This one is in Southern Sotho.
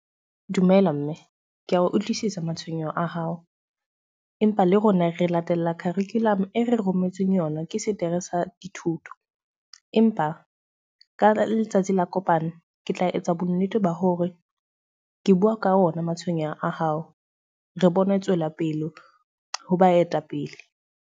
Dumela mme. Ke a utlwisisa matshwenyeho a hao. Empa le rona re latella curriculum e re rometsweng yona ke setere sa dithuto. Empa ka letsatsi la kopano, ke tla etsa bonnete ba hore ke bua ka ona matshwenyeho a hao. Re bone tswelapele ho baetapele.